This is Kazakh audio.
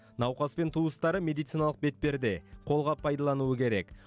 науқас пен туыстары медициналық бетперде қолғап пайдалануы керек